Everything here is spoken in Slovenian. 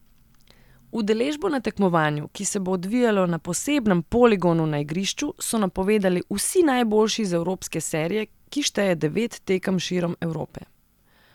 Udeležbo na tekmovanju, ki se bo odvijalo na posebnem poligonu na igrišču, so napovedali vsi najboljši iz evropske serije, ki šteje devet tekem širom Evrope.